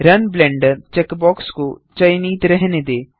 run Blender checkbox को चयनित रहने दें